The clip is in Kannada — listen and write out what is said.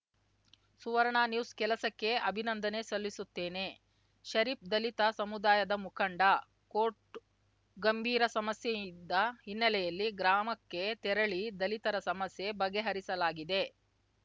ಸುವರ್ಣ ನ್ಯೂಸ್‌ ಕೆಲಸಕ್ಕೆ ಅಭಿನಂದನೆ ಸಲ್ಲಿಸುತ್ತೇನೆ ಷರೀಫ್‌ ದಲಿತ ಸಮುದಾಯದ ಮುಖಂಡ ಕೋಟ್‌ ಗಂಭೀರ ಸಮಸ್ಯೆಯಿಂದ್ದ ಹಿನ್ನೆಲೆಯಲ್ಲಿ ಗ್ರಾಮಕ್ಕೆ ತೆರಳಿ ದಲಿತರ ಸಮಸ್ಯೆ ಬಗೆಹರಿಸಲಾಗಿದೆ